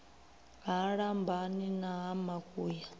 ha lambani na ha makuya